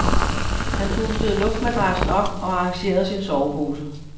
Han pustede luftmadrassen op og arrangerede sin sovepose.